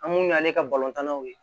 An munnu y'ale ka balontan naw ye